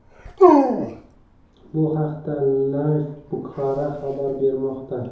Bu haqda Live Bukhara xabar bermoqda .